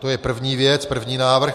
To je první věc, první návrh.